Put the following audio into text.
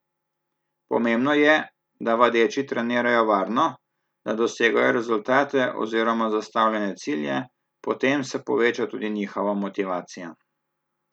Pomembno je, da vadeči trenirajo varno, da dosegajo rezultate oziroma zastavljene cilje, potem se poveča tudi njihova motivacija.